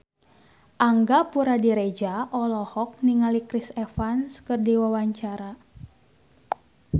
Angga Puradiredja olohok ningali Chris Evans keur diwawancara